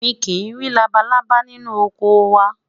mí kí nri labalábá ninu ọkọ wa